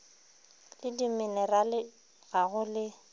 le dimenerale ga go le